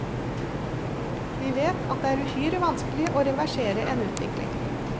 Vi vet at det er uhyre vanskelig å reversere en utvikling.